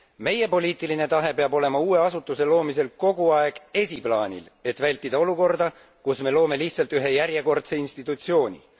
Meie poliitiline tahe peab olema uue asutuse loomisel kogu aeg esiplaanil, et vältida olukorda, kus me loome lihtsalt ühe järjekordse institutsiooni.